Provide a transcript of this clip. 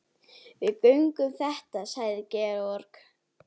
Við göngum þetta sagði Georg.